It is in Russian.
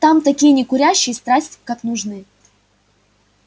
нам такие некурящие страсть как нужны